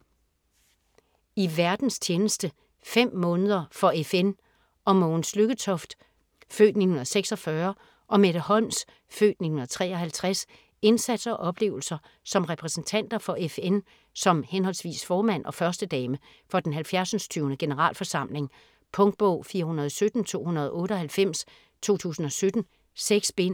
I verdens tjeneste: 15 måneder for FN Om Mogens Lykketoft (f. 1946) og Mette Holms (f. 1953) indsats og oplevelser som repræsentanter for FN som henholdsvis formand og førstedame for den 70. Generalforsamling. Punktbog 417298 2017. 6 bind.